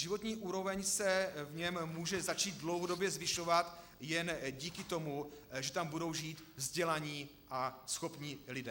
Životní úroveň se v něm může začít dlouhodobě zvyšovat jen díky tomu, že tam budou žít vzdělaní a schopní lidé.